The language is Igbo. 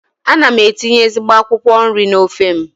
Ana m etinye ezigbo akwụkwọ nri n'ofe m.